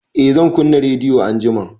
Eh zan kunna rediyo anjima